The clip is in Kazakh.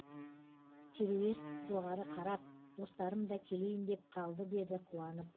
теруес жоғары қарап достарым да келейін деп қалды деді қуанып